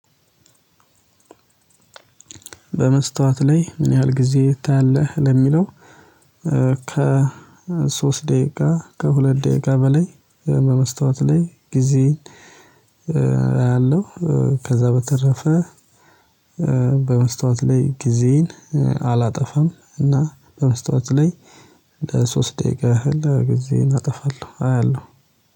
በመስታወት ላይ ምን ያህል ጊዜ ታያለህ ለሚለው? ከ ሶስት ደቂቃ ከሁለት ደቂቃ በላይ በመስታወት ላይ ጊዜ አያለው። ከዛ በተረፈ በመስታወት ላይ ጊዜየን አላጠፋም። እና በመስታወት ላይ ለሶስት ደቂቃ እህል ጊዜየን አጠፋለሁ አያለሁ